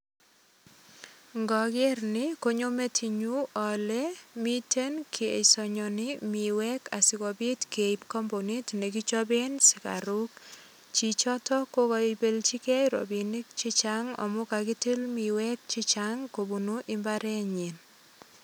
Ngoger ni konyo metinyun ale miten kesonyoni miwek asigopit keip kambunit negichapen sigaruk. Chichoto ko kaibelchigei rapinik che chang amu kagitil miwek che chang kobunu imbarenyi.